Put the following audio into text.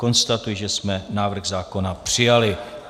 Konstatuji, že jsme návrh zákona přijali.